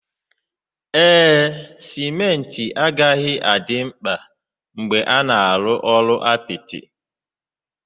Ee, simenti agaghị adị mkpa mgbe a na-arụ ụlọ apịtị.